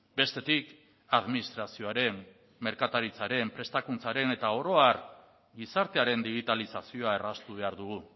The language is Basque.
bestetik administrazioaren merkataritzaren prestakuntzaren eta oro har gizartearen digitalizazioa erraztu behar dugu